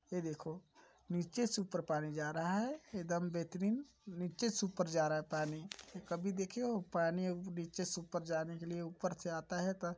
ये देखो नीचे से ऊपर पानी जा रहा है एदम बेहतरीन नीचे से ऊपर जा रहा है पानी कभी देखे हो पानी वो नीचे से ऊपर जाने के लिए ऊपर से आता हैं त --